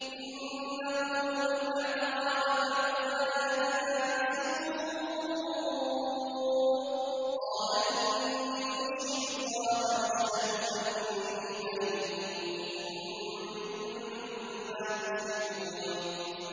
إِن نَّقُولُ إِلَّا اعْتَرَاكَ بَعْضُ آلِهَتِنَا بِسُوءٍ ۗ قَالَ إِنِّي أُشْهِدُ اللَّهَ وَاشْهَدُوا أَنِّي بَرِيءٌ مِّمَّا تُشْرِكُونَ